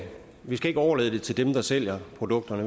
vi skal overlade det til dem der sælger produkterne